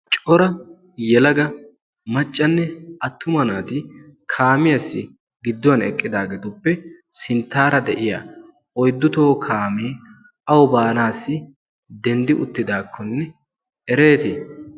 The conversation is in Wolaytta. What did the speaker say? cora yelaga maccanne attuma naati kaamiyaassi gidduwan eqqidaageetuppe sinttaara de'iya oiddutoo kaamee awu baanaassi denddi uttidaakkonne ereetii?